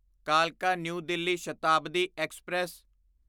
ਕਾਲਕਾ New Delhi Shatabdi express